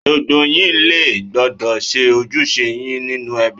Gbogbo yín lẹ gbọ́dọ̀ ṣe ojúṣe yín nínú ẹbí.!